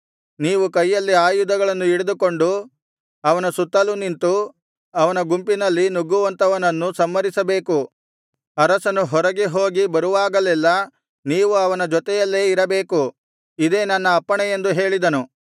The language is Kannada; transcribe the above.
ನೀವು ಕೈಯಲ್ಲಿ ಆಯುಧಗಳನ್ನು ಹಿಡಿದುಕೊಂಡು ಅವನ ಸುತ್ತಲೂ ನಿಂತು ಅವನ ಗುಂಪಿನಲ್ಲಿ ನುಗ್ಗುವಂತವನನ್ನು ಸಂಹರಿಸಬೇಕು ಅರಸನು ಹೊರಗೆ ಹೋಗಿ ಬರುವಾಗಲೆಲ್ಲಾ ನೀವು ಅವನ ಜೊತೆಯಲ್ಲೇ ಇರಬೇಕು ಇದೇ ನನ್ನ ಅಪ್ಪಣೆ ಎಂದು ಹೇಳಿದನು